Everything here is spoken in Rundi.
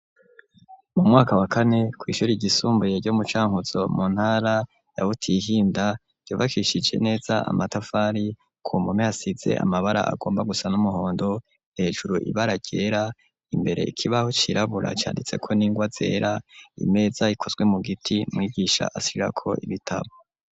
Mu mwaka wa kane kw'ishuri rgisumbuye ryo mucankuzo mu ntara yawutihinda yobakishije neza amatafari ku mume hasize amabara agomba gusa n'umuhondo hejuru ibara ryera imbere ikibaho cirabura canditse ko n'ingwa zera imeza ikozwe mu giti mwigisha asirako ibitawa.